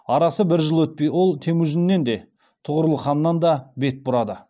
арасы бір жыл өтпей ол темужіннен де тұғырыл ханнан да бет бұрады